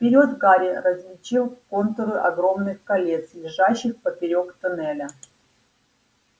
вперёд гарри различил контуры огромных колец лежащих поперёк тоннеля